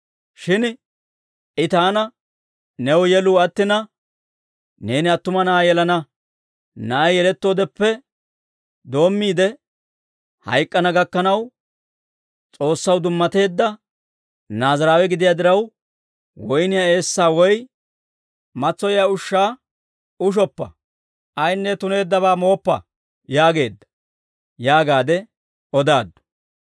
Shin I taana, ‹New yeluu attina, neeni attuma na'aa yelana. Na'ay yelettoodeppe doommiide hayk'k'ana gakkanaw, S'oossaw dummateedda Naaziraawe gidiyaa diraw, woyniyaa eessaa woy matsoyiyaa ushshaa ushoppa; ayaanne tuneeddabaa mooppa› yaageedda» yaagaadde odaaddu.